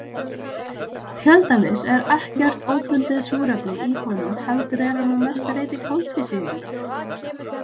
Til dæmis er ekkert óbundið súrefni í honum heldur er hann að mestu leyti koltvísýringur.